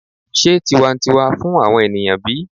se tiwantiwa fun awon eniyan bi?